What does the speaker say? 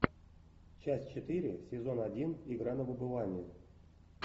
часть четыре сезон один игра на выбывание